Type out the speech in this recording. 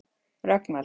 Rögnvald